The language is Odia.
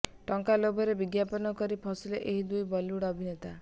ଟଙ୍କା ଲୋଭରେ ବିଜ୍ଞାପନ କରି ଫସିଲେ ଏହି ଦୁଇ ବଲିଉଡ୍ ଅଭିନେତା